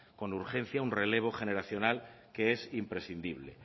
con urgencia un relevo generacional que es imprescindible